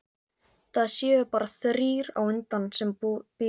Það séu bara þrír á undan sem bíði.